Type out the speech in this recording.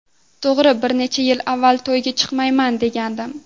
To‘g‘ri, bir necha yil avval: ‘To‘yga chiqmayman’, degandim.